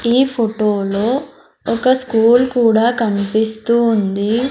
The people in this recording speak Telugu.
ఈ ఫోటో లో ఒక స్కూల్ కూడా కన్పిస్తూ ఉంది.